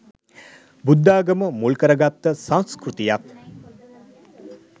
බුද්ධාගම මුල් කරගත්ත සංස්කෘතියක්